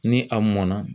Ni a mɔnna